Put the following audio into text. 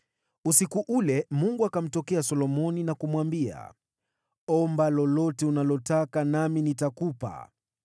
Usiku ule Mungu akamtokea Solomoni na kumwambia, “Omba lolote utakalo nikupe.”